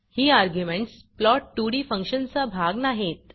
ही arguments plot2डी फंक्शनचा भाग नाहीत